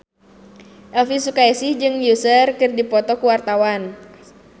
Elvi Sukaesih jeung Usher keur dipoto ku wartawan